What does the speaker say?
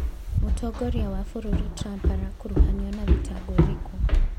Mũtongoria wa bũrũri Trump arakuruhanio na thitango ĩrĩkũ?